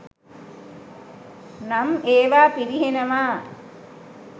නම් ඒවා පිරිහෙනවා.